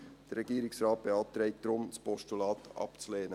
Der Regierungsrat beantragt deshalb, das Postulat abzulehnen.